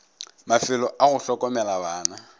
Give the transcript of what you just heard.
mafelo a go hlokomela bana